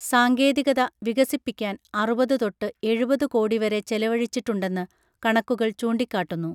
സാങ്കേതികത വികസിപ്പിക്കാൻ അറുപത് തൊട്ട് എഴുപത് കോടിവരെ ചെലവഴിച്ചിട്ടുണ്ടെന്ന് കണക്കുകൾ ചൂണ്ടികാട്ടുന്നു